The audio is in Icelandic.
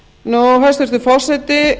fiskveiðiári hæstvirtur forseti